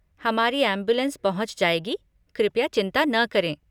हमारी एम्बुलेंस पहुँच जाएगी, कृपया चिंता न करें।